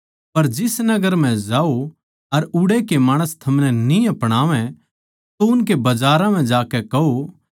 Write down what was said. पर जिस नगर म्ह जाओ अर उड़ै कै माणस थमनै न्ही अपणावै तो उसके बजारां म्ह जाकै कहो